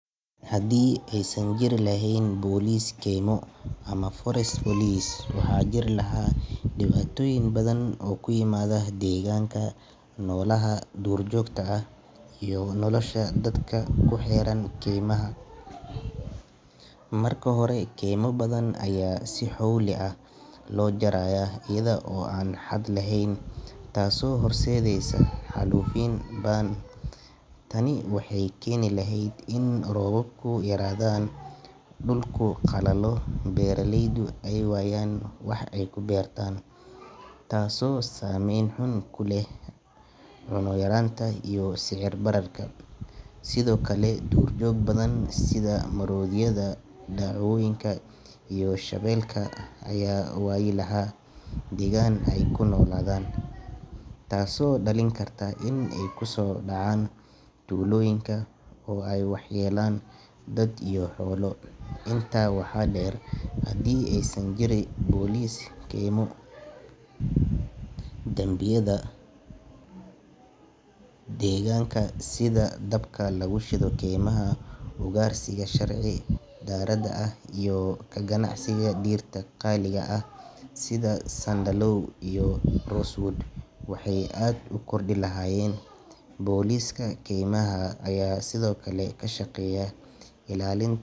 Haddii aysan jiri lahayn boolis keymo ama forest police, waxaa jiri lahaa dhibaatooyin badan oo ku yimaada deegaanka, noolaha duurjoogta ah iyo nolosha dadka ku xeeran keymaha. Marka hore, keymo badan ayaa si xowli ah loo jarayaa iyada oo aan xad lahayn taasoo horseedaysa xaalufin ba’an. Tani waxay keeni lahayd in roobabku yaraadaan, dhulku qalalo, beeralaydu ay waayaan wax ay ku beertaan, taasoo saameyn xun ku leh cunno yaraanta iyo sicir bararka. Sidoo kale, duurjoog badan sida maroodiyada, dawacooyinka iyo shabeelka ayaa waayi lahaa deegaan ay ku noolaadaan, taasoo dhalin karta in ay ku soo dhacaan tuulooyinka oo ay waxyeeleeyaan dad iyo xoolo. Intaa waxaa dheer, haddii aysan jirin boolis keymo, dambiyada deegaanka sida dabka lagu shido keymaha, ugaarsiga sharci darrada ah iyo ka ganacsiga dhirta qaaliga ah sida sandalwood iyo rosewood waxay aad u kordhi lahaayeen. Booliska keymaha ayaa sidoo kale ka shaqeeya ilaalin.